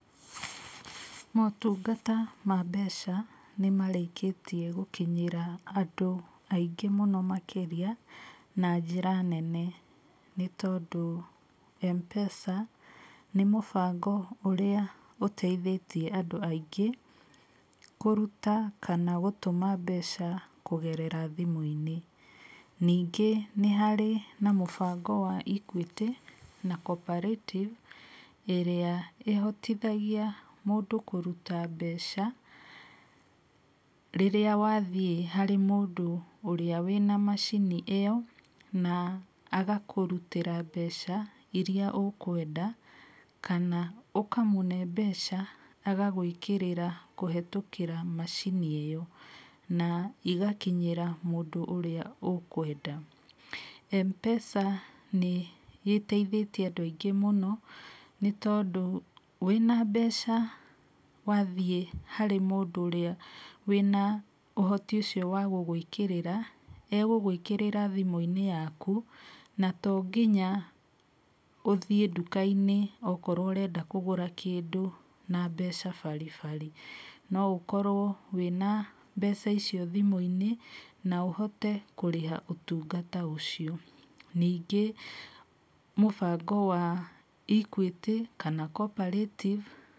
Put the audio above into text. Motungata ma mbeca nĩ marĩkĩtie gũkinyĩra andũ aingĩ mũno makĩria na njĩra nene. Nĩ tondũ M-Pesa nĩ mũbango ũrĩa ũteithĩtie andũ aingĩ kũruta kana gũtũma mbeca kũgerera thimũ-inĩ. Ningĩ nĩ harĩ na mũbango wa Equity na Co-operative ĩrĩa ĩhotithagia mũndũ kũruta mbeca rĩrĩa wathiĩ harĩ mũndũ ũrĩa wĩna macini ĩyo, na agakũrutĩra mbeca irĩa ũkwenda. Kana ũkamũhe mbeca agagwĩkĩrĩra kũhĩtũkĩra macini ĩyo. M-Pesa nĩ ĩteithĩtie andũ aingĩ mũno nĩ tondũ wĩna mbeca wathiĩ harĩ mũndũ ũcio wĩna ũhoti ũcio wa gũgwĩkĩrĩra, egũgwĩkĩrĩra thimũ-inĩ yaku. Na to nginya ũthiĩ nduka-inĩ okorwo ũrenda kũgũra kĩndũ na mbeca baribari. No ũkorwo wĩna mbeca icio thimũ-inĩ na ũhote kũrĩha ũtungata ũcio. Ningĩ mũbango wa Equity kana Co-operative.